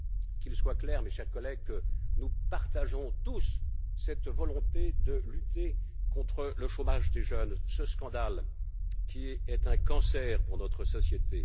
Qu'il soit clair, mes chers collègues, que nous partageons tous cette volonté de lutter contre le chômage des jeunes, ce scandale qui est un cancer pour notre société.